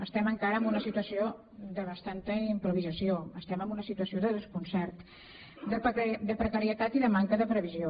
estem encara en una situació de bastant improvisació estem en una situació de desconcert de precarietat i de manca de previsió